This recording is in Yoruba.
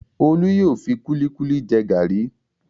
Olú yóò fi kúlíkúlí jẹ gàrí.